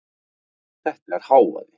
Þetta er hávaði.